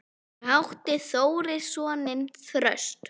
Fyrir átti Þórir soninn Þröst.